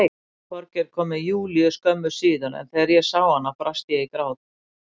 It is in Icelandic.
Þorgeir kom með Júlíu skömmu síðar en þegar ég sá hana brast ég í grát.